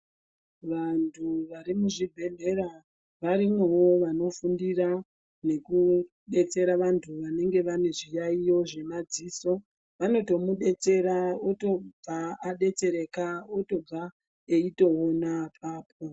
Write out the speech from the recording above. Vantu vari mu zvibhedhlera varimwowo vano fundira neku detsera vantu vanenge vane zviyayiyo zve madzisi vanoto mudetsera otobva adetsereka otobva eyito ona apapo.